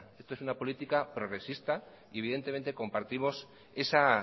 esto es una política progresista y evidentemente compartimos esa